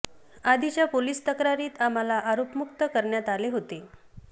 आधीच्या पोलीस तक्रारीत आम्हाला आरोपमुक्त करण्यात आले होते